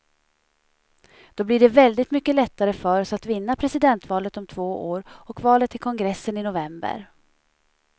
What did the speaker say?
Då blir det väldigt mycket lättare för oss att vinna presidentvalet om två år och valet till kongressen i november.